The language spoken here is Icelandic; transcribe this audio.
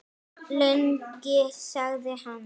Lengi? sagði hann.